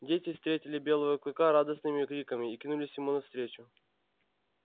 дети встретили белого клыка радостными криками и кинулись ему навстречу